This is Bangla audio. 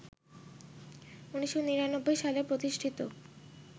১৯৯৯ সালে প্রতিষ্ঠিত